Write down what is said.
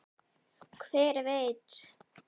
Hver veit